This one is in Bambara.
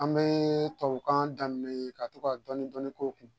An bɛ tubabukan daminɛ ka to ka dɔɔnin dɔɔnin k'o kun